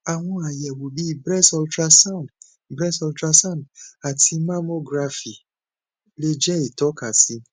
àwọn àyẹwò bí breast ultrasound breast ultrasound àti mammography lè jẹ ìtókasí